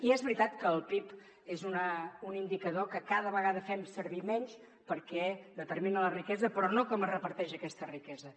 i és veritat que el pib és un indicador que cada vegada fem servir menys perquè determina la riquesa però no com es reparteix aquesta riquesa